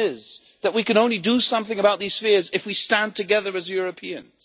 is that we can only do something about these fears if we stand together as Europeans.